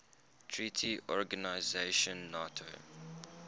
treaty organization nato